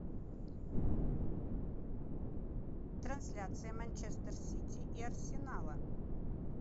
трансляция манчестер сити и арсенала